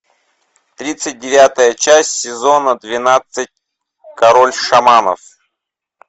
тридцать девятая часть сезона двенадцать король шаманов